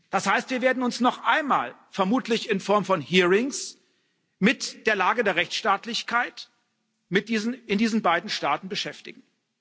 Das heißt, wir werden uns noch einmal vermutlich in Form von hearings mit der Lage der Rechtsstaatlichkeit in diesen beiden Staaten beschäftigen.